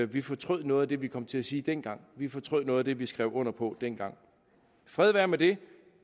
vi fortrød noget af det vi kom til at sige dengang vi fortrød noget af det vi skrev under på dengang fred være med det